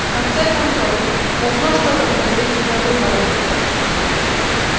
в конце концов должно что-то произойти до выборов